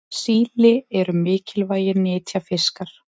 síli eru mikilvægir nytjafiskar